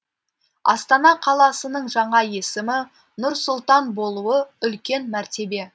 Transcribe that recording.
астана қаласының жаңа есімі нұр сұлтан болуы үлкен мәртебе